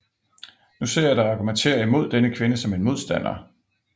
Nu ser jeg dig argumentere imod denne kvinde som en modstander